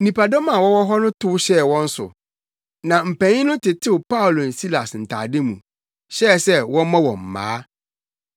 Nnipadɔm a wɔwɔ hɔ no tow hyɛɛ wɔn so, na mpanyin no tetew Paulo ne Silas ntade mu, hyɛɛ sɛ wɔmmɔ wɔn mmaa.